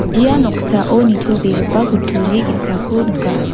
ia noksao nitobegipa kutturi ge·sako nika.